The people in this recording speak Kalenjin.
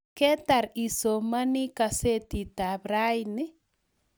ketar isomani kasetitab raini?